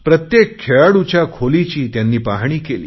प्रत्येक खेळाडूच्या खोलीची त्यांनी पाहणी केली आहे